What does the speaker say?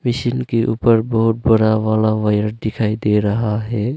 Machine के ऊपर बहुत बड़ा वाला वायर दिखाई दे रहा है।